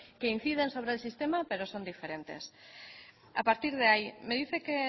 que inciden sobre el sistema pero son diferentes a partir de ahí me dice que